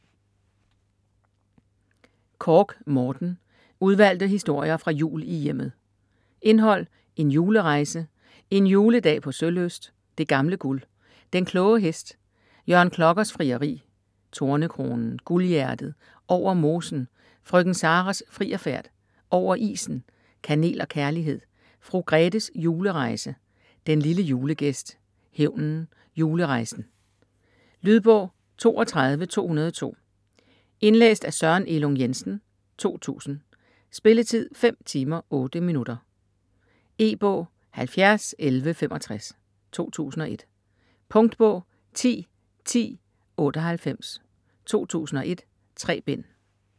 Korch, Morten: Udvalgte historier fra Jul i Hjemmet Indhold: En julerejse; En juledag på Sølyst; Det gamle guld; Den kloge hest; Jørgen Klokkers frieri; Tornekronen; Guldhjertet; Over mosen; Frøken Saras frierfærd; Over isen; Kanel og kærlighed; Fru Grethes julerejse; Den lille julegæst; Hævnen; Julerejsen. Lydbog 32202 Indlæst af Søren Elung Jensen, 2000. Spilletid: 5 timer, 8 minutter. E-bog 701165 2001. Punktbog 101098 2001. 3 bind.